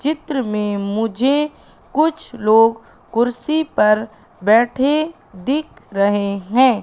चित्र में मुझे कुछ लोग कुर्सी पर बैठे दिख रहे है।